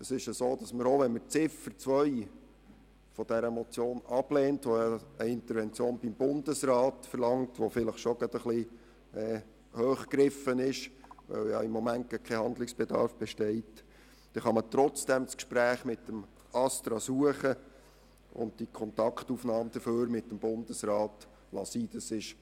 Auch wenn man Ziffer 2 der Motion ablehnt, die eine Intervention beim Bundesrat verlangt und vielleicht schon ein bisschen hoch greift, weil im Moment kein Handlungsbedarf besteht, so kann man trotzdem das Gespräch mit dem ASTRA suchen, aber stattdessen die Kontaktnahme mit dem Bundesrat bleiben lassen.